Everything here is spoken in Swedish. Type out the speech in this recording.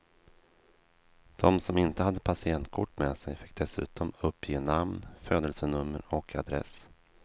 De som inte hade patientkort med sig fick dessutom uppge namn, födelsenummer och adress.